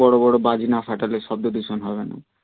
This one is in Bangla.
বড় বড় বাজি না ফাটালে শব্দ দূষণ হবে না